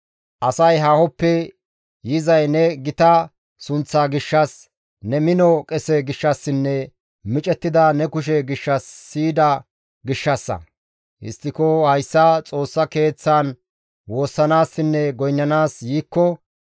asay haahoppe yizay ne gita sunththaa gishshas, ne mino qese gishshassinne micettida ne kushe gishshas siyida gishshassa. Histtiko hayssa Xoossa Keeththaan woossanaassinne goynnanaas yiikko,